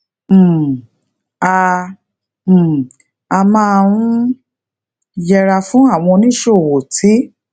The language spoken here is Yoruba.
um a um a máa ń yẹra fún àwọn oníṣòwò tí